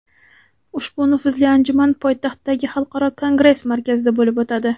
Ushbu nufuzli anjuman poytaxtdagi Xalqaro kongress markazida bo‘lib o‘tadi.